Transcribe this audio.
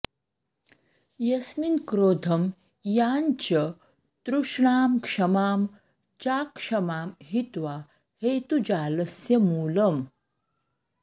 यस्मिन्क्रोधं यां च तृष्णां क्षमां चाक्षमां हित्वा हेतुजालस्य मूलम्